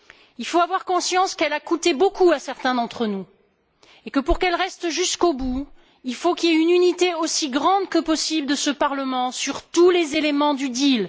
Il faut avoir conscience qu'elle a coûté beaucoup à certains d'entre nous et que, pour qu'elle reste jusqu'au bout, il faut qu'il y ait une unité aussi grande que possible de ce Parlement sur tous les éléments du deal.